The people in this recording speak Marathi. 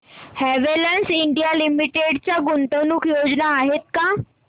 हॅवेल्स इंडिया लिमिटेड च्या गुंतवणूक योजना आहेत का